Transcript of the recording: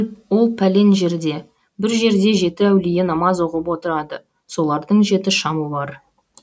ол пәлен жерде бір жерде жеті әулие намаз оқып отырады солардың жеті шамы бар